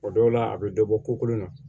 O dɔw la a bɛ dɔ bɔ kolon na